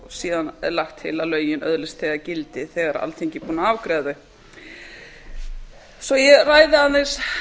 síðan er lagt til að lögin öðlist þegar gildi þegar alþingi er búið að afgreiða þau svo ég ræði aðeins